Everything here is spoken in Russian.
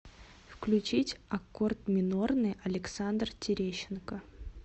включить аккорд минорный александр терещенко